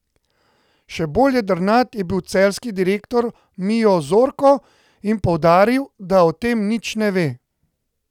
Še bolj jedrnat je bil celjski direktor Mijo Zorko in poudaril, da o tem nič ne ve.